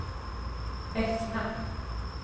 Bettna